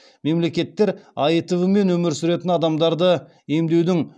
мемлекеттер аитв мен өмір сүретін адамдарды емдеудің